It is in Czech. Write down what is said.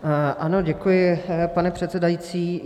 Ano, děkuji, pane předsedající.